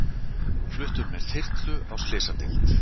Fluttur með þyrlu á slysadeild